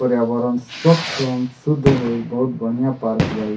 पर्यावरण स्वच्छ एवं शुद्ध होई बहुत बढ़िया पार्क बा इ।